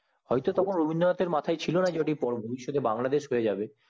হয় তো তখন রবীন্দ্রনাথ এর মাথায় ছিলো না ওটা বাংলাদেশ হয়ে যাবে